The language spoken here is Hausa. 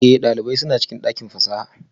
Ee, ɗalibai suna cikin ɗakin fasaha